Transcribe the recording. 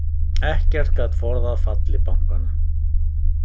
Ekkert gat forðað falli bankanna